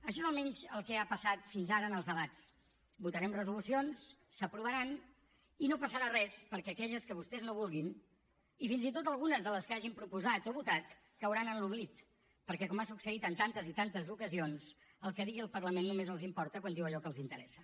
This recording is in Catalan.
això és almenys el que ha passat fins ara en els debats votarem resolucions s’aprovaran i no passarà res perquè aquelles que vostès no vulguin i fins i tot algunes de les que hagin proposat o votat cauran en l’oblit perquè com ha succeït en tantes i tantes ocasions el que digui el parlament només els importa quan diu allò que els interessa